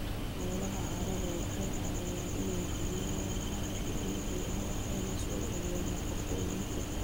Noolaha carradu waxay caawiyaan inay jebiyaan walxaha dabiiciga ah waxayna soo celiyaan nafaqooyinka.